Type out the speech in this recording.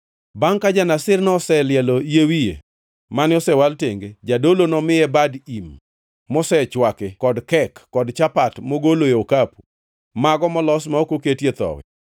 “ ‘Bangʼ ka ja-Nazirno oselielo yie wiye mane osewal tenge, jadolo nomiye bad im mosechwaki, kod kek kod chapat mogoloe okapu, mago molos ma ok oketie thowi.